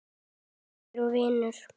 Bróðir og vinur.